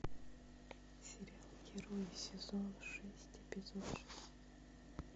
сериал герои сезон шесть эпизод шесть